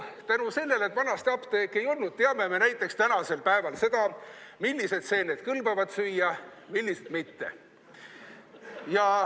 Tänu sellele, et vanasti apteeke ei olnud, teame me tänapäeval näiteks seda, millised seened kõlbavad süüa, millised mitte.